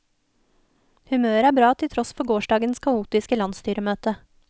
Humøret er bra til tross for gårsdagens kaotiske landsstyremøte.